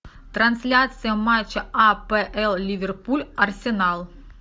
трансляция матча апл ливерпуль арсенал